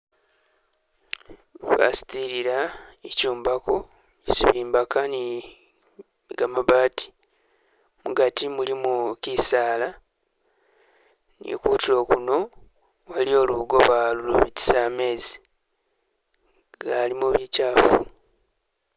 Basitilla, ishombakho shesi bimbaga ni gamabati, mugati mulimu gisalaa, ni khutulo khuno waliwo lugoba lubitisa mezi lulimo bikyafu